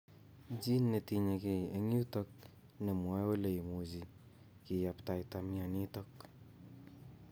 Gene netinyegei eng' yutok nemwoe ole imuchi kiyaptaita mionitok